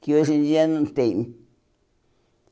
Que hoje em dia não tem.